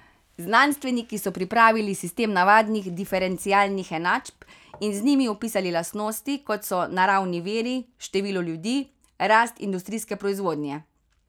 Znanstveniki so pripravili sistem navadnih diferencialnih enačb in z njimi opisali lastnosti, kot so naravni viri, število ljudi, rast industrijske proizvodnje ...